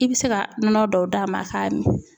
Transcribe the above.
I bɛ se ka nɔnɔ dɔw d'a ma a k'a min.